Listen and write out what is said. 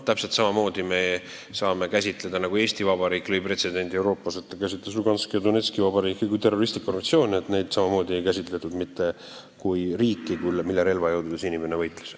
Täpselt samamoodi saame võtta, et Eesti Vabariik lõi pretsedendi Euroopas, käsitledes Luganski ja Donetski vabariiki kui terroristlikke organisatsioone – neid ei käsitletud riikidena, mille relvajõududes inimene võitles.